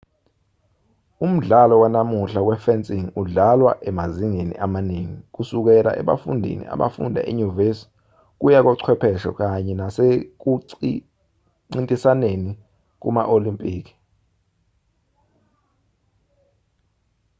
umdlalo wanamuhla we-fencing udlalwa emazingeni amaningi kusukela ebafundini abafunda enyuvesi kuya kochwepheshe kanye nasekuncintisaneni kuma-olimpiki